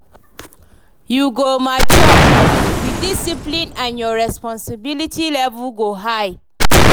You go mature, dey disciplined and your responsibility level go high